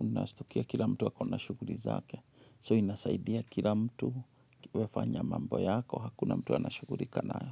unastukia kila mtu ako na shuguli zake. So inasaidia kila mtu we fanya mambo yako, hakuna mtu anashugulika nayo.